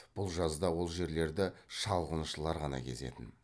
бұл жазда ол жерлерді шалғыншылар ғана кезетін